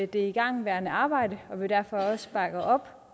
det igangværende arbejde og vi derfor også bakker op